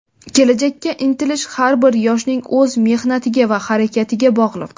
kelajakka intilish har bir yoshning o‘z mehnatiga va harakatiga bog‘liq.